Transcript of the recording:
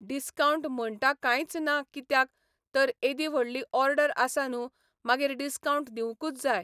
Discount म्हणटा कांयच ना कित्याक तर एदी व्हडली ऑर्डर आसा न्हू मागीर डिस्कावंट दिवंकूच जाय.